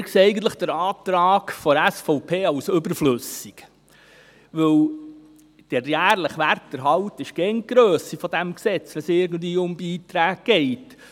Wir erachten den Antrag der SVP eigentlich als überflüssig, Denn der jährliche Werterhalt entspricht immer der Grösse des Gesetzes, wenn es irgendwie um Beiträge geht.